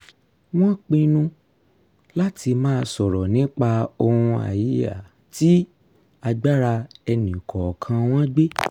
wọ́n pinnu láti máa sọ̀rọ̀ nípa ohun tí agbára ẹnì kọ̀ọ̀kan wọn gbé